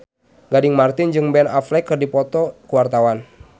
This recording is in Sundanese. Gading Marten jeung Ben Affleck keur dipoto ku wartawan